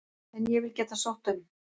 En ég vil geta sótt um.